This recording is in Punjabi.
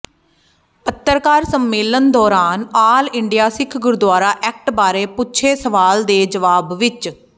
ਪੱਤਰਕਾਰ ਸੰਮੇਲਨ ਦੌਰਾਨ all India Sikh gurdwara act ਬਾਰੇ ਪੁੱਛੇ ਸਵਾਲ ਦੇ ਜਵਾਬ ਵਿੱਚ ਪ੍ਰੋ